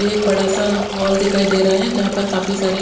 एक बड़ा सा हॉल दिखाई दे रहा है जहा पर काफी सारे--